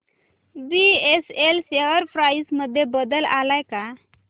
BSL share price मध्ये बदल आलाय का